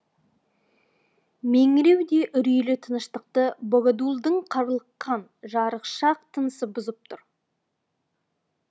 меңіреу де үрейлі тыныштықты богодулдың қарлыққан жарықшақ тынысы бұзып тұр